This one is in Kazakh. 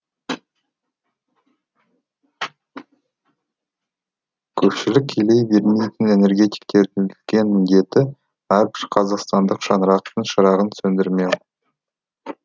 көпшілік елей бермейтін энергетиктердің үлкен міндеті әрбір қазақстандық шаңырақтың шырағын сөндірмеу